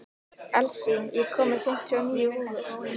Elsí, ég kom með fimmtíu og níu húfur!